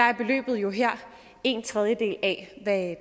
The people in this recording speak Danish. er beløbet jo en tredjedel af